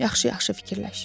Yaxşı-yaxşı fikirləş.